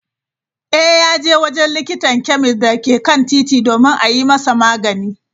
Eh, yaje wajen likitan chemist dake kan titi domin a yi masa magani.